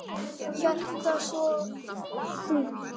Hjartað svo þungt.